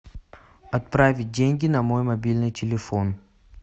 отправить деньги на мой мобильный телефон